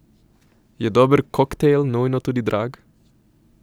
Je dober koktajl nujno tudi drag?